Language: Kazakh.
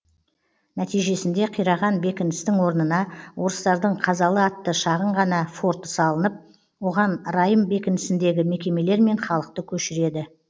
нәтижесінде қираған бекіністің орнына орыстардың қазалы атты шағын ғана форты салынып оған райым бекінісіндегі мекемелер мен халықты көшіреді